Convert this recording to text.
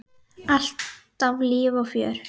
Alltaf líf og fjör.